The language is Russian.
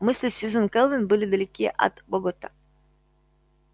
мысли сьюзен кэлвин были далеки от богерта